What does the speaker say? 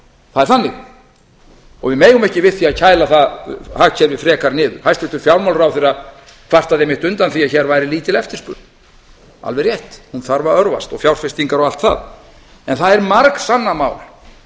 það er þannig og við megum ekki við því að kæla það hagkerfi frekar niður hæstvirtur fjármálaráðherra kvartaði einmitt undan því að hér væri lítil eftirspurn alveg rétt hún þarf að örvast og fjárfestingar og allt það en það er margsannað mál